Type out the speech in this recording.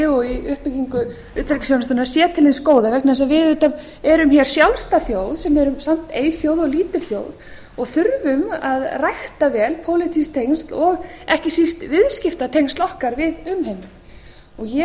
og í uppbyggingu utanríkisþjónustunnar sé til hins góða vegna þess að við auðvitað erum hér sjálfstæð þjóð sem erum samt eyþjóð og lítil þjóð og þurfum að rækta vel pólitísk tengsl og ekki síst viðskiptatengsl okkar við umheiminn